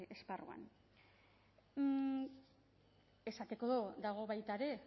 esparruan esateko dago baita ere